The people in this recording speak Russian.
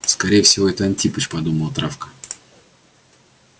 скорее всего это антипыч подумала травка